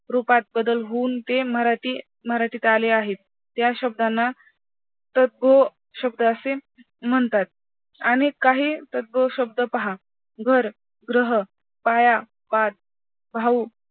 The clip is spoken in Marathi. रूपात बदल होऊन ते मराठी मराठीत आले आहेत त्या शब्दांना तत्भोशब्द असे म्हणतात. अनेक काही तत्भोशब्द पहा घर, ग्रह, पाया, पाट, भाऊ,